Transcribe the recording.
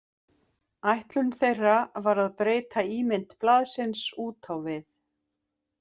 Ætlun þeirra var að breyta ímynd blaðsins út á við.